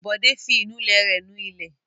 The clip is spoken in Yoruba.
Bọ̀dé fi ìnulẹ̀ rẹ̀ nu ilẹ̀.